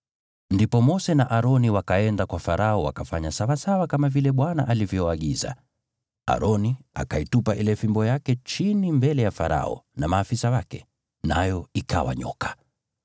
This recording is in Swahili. Ndipo Mose na Aroni wakaenda kwa Farao wakafanya sawasawa kama vile Bwana alivyoagiza. Aroni akaitupa ile fimbo yake chini mbele ya Farao na maafisa wake, nayo ikawa nyoka.